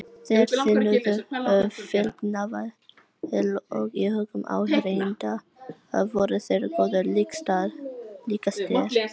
Þeir þénuðu feiknavel og í hugum áheyrenda voru þeir goðum líkastir.